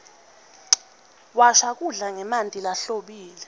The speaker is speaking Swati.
washa kudla ngemanti lahlobile